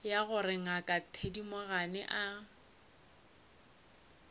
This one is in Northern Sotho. ya gore ngaka thedimogane a